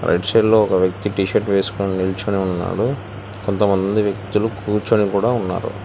Right side లో ఒక వ్యక్తి టీషర్ట్ వేసుకొని నిల్చొని ఉన్నాడు కొంత మంది వ్యక్తులు కూర్చొని కూడా ఉన్నారు.